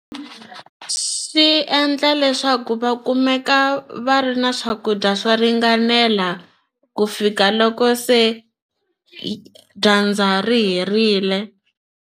Swi endla leswaku va kumeka va ri na swakudya swo ringanela ku fika loko se dyandza ri herile.